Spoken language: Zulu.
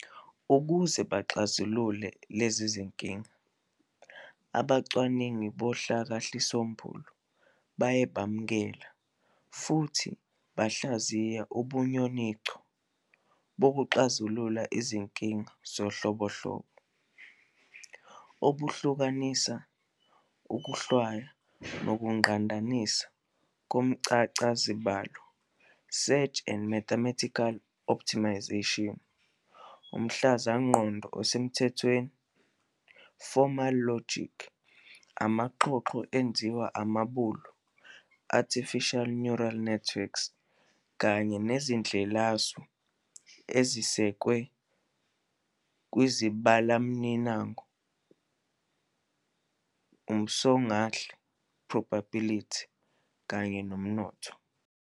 Ukuze baxazulule lezinkinga, abacwaningi bohlakahlisombulu baye bamukela futhi bahlayiza ubunyoninco bokuxazula izinkinga obunhlobonhlobo - obuhlanganisa ukuhlwaya nokungqandanisa komchazazibalo "search and mathematical optimization", umhluzamqondo osemthethweni "formal logic", amaxhoxho ezinzwa ambulu "artificial neural networks", kanye nezindlelasu ezisekwe kwizibalomniningo, umsongahle "probability" kanye nomnotho.